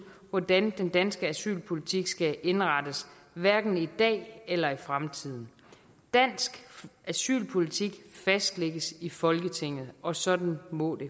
hvordan den danske asylpolitik skal indrettes hverken i dag eller i fremtiden dansk asylpolitik fastlægges i folketinget og sådan må det